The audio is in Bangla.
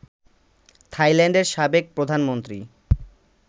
থাইল্যান্ডের সাবেক প্রধানমন্ত্রী